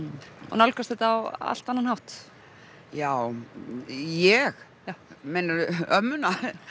nálgast þetta á allt annan hátt já ég meinarðu ömmuna